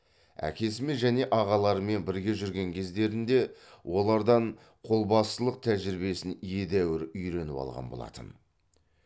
әкесімен және ағаларымен бірге жүрген кездерінде олардан қолбасылық тәжірибесін едәуір үйреніп алған болатын